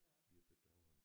Wir bedauern